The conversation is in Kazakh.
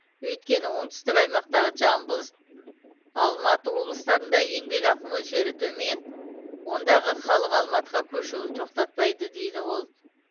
өйткені оңтүстік аймақтағы жамбыл алматы облыстарында еңбекақы мөлшері төмен ондағы халық алматыға көшуін тоқтатпайды деді ол